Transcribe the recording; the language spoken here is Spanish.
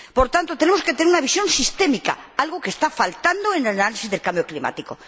Por tanto, tenemos que tener una visión sistémica, algo que está faltando en el análisis del cambio climático.